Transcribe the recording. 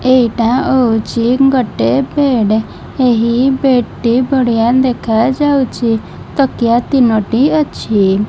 ଏଇଟା ହୋଉଚି ଗୋଟେ ବେଡେ ଏହି ବେଡ୍ ଟି ବଢିଆ ଦେଖାଯାଉଛି ତକିଆ ତିନୋଟି ଅଛି।